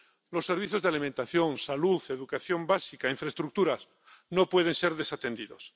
Los servicios de alimentación, salud, educación básica e infraestructuras no pueden ser desatendidos.